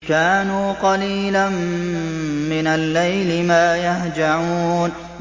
كَانُوا قَلِيلًا مِّنَ اللَّيْلِ مَا يَهْجَعُونَ